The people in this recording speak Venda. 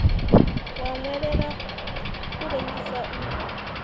wa nwelela u lengisa u